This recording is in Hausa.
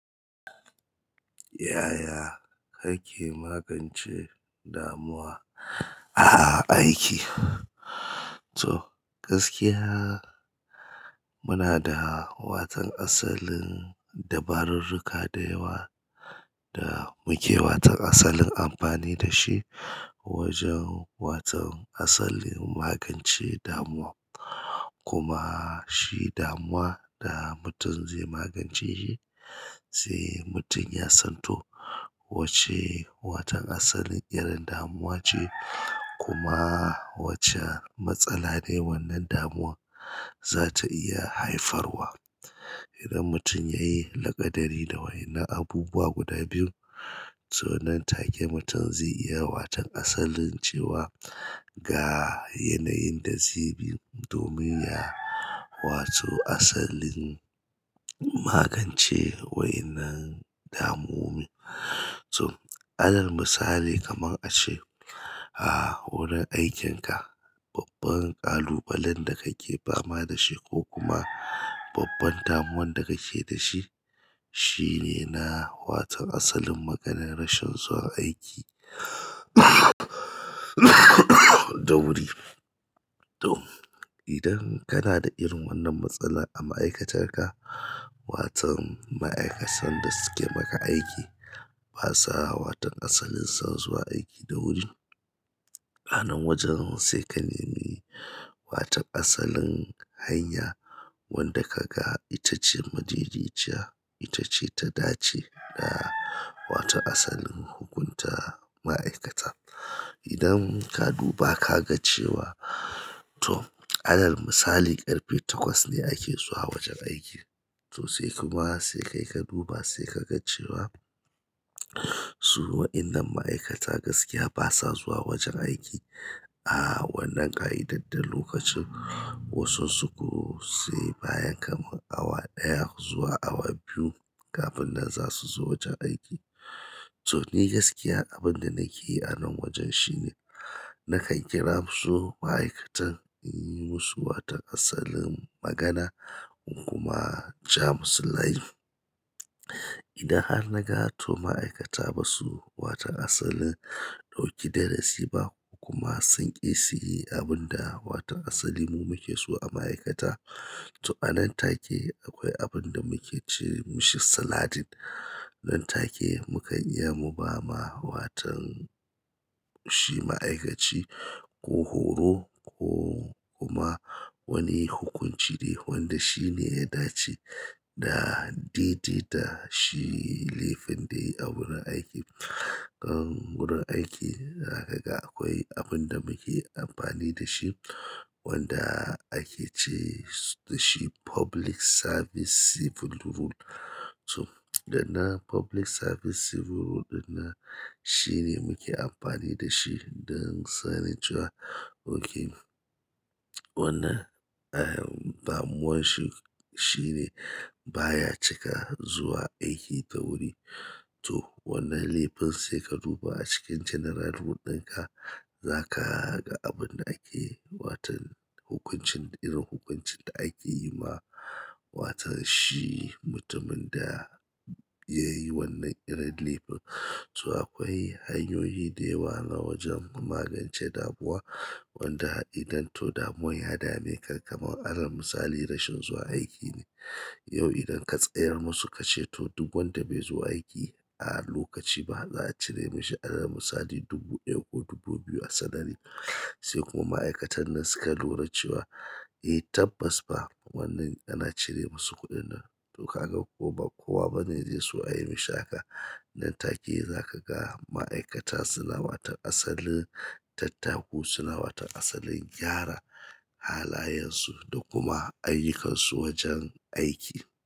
Yaya kake magance damuwa a aiki? To, gaskiya muna da watan asalin dabarurruka da yawa da muke watan asalin amfani da shi wajen watau asalin magance damuwa. Kuma shi damuwa da mutum zai magance shi, sai mutum ya san to wacce waton asalin irin damuwa ce kuma wacce matsala ne wannan damuwa za ta iya haifarwa. Idan mutum ya yi laƙadari da wa'yan nan abubuwa guda biyu, so nan take mutum zai iya watan asalin cewa ga yanayin da zai bi domin ya wato asalin magance wa'yan nan damowomin. To, alar misali kaman a ce a wurin aikinka, babban ƙalubalen da kake fama da shi ko kuma babban damuwan da kake da shi, shine na watan asalin maganan rashin zuwa aiki da wuri. To, idan kana da irin wannan matsala a ma'aikatarka, waton ma'aikatan da suke maka aiki basa watan asalin son zuwa aiki da wuri. Anan wajen sai ka nemi watan asalin hanya wadda ka ga ita ce majiji ciya, ita ce ta dace da watan asalin hukunta ma'aikata. Idan ka duba ka ga cewa to alar misali ƙarfe takwas ne ake zuwa wajen aiki. To sai kuma sai kai ka duba sai ka ga cewa su wa'yannan ma'aikata gaskiya basa zuwa wajen aiki a wannan ƙa'idad da lokacin. Wasun su ko sai bayan kaman awa ɗaya zuwa awa biyu kafin nan za su zo wajen aiki. To ni gaskiya abin da nake yi anan wajen shine nakan kira su ma'aikatan in yi musu watan asalin magana kuma ja musu layi. Idan har naga to ma'aikata ba su watan asalin ɗauki darasi ba kuma sun ƙi su yi abin da watan asalin mu muke so a ma'aikata, to anan take akwai abin da muke ce mishi saladin. Nan take mu kan iya mu ba ma watan shi ma'aikaci ko horo ko kuma wani hukunci dai wanda shine ya dace, da daidai da shi laifin da yayi a wurin aiki. Nan wurin aiki za kaga akwai abinda muke amfani dashi wanda ake ce dashi "public service civil rule" to da nan public service civil rule ɗin nan shine muke amfani dashi don tsananin cewa ok. Wannan, eh, damuwan shi shine baya cika zuwa aiki da wuri. To wannan laifin sai ka duba a cikin general rule ɗinka, za ka ga abin da ake watan hukuncin, irin hukuncin da ake yi wa watan shi mutumin da ya yi wannan irin laifin. To akwai hanyoyi da yawa na wajen magance damuwa wanda idan to damuwan ya dame ka kaman alar misali rashin zuwa aiki ne. Yau idan ka tsayar musu ka ce to duk wanda bai zo aiki a lokaci ba za a cire mashi alar misali dubu ɗaya ko dubu biyu a salary. Sai kuma ma'aikatan nan suka lura cewa eh tabbas fa wannan ana cire musu kuɗin nan. To kaga ko ba, kowa bane zai so a yi mishi haka. Nan take za ka ga ma'aikata suna watan asalin tattaku, suna watan asalin gyara halayensu da kuma ayyukansu wajen aiki.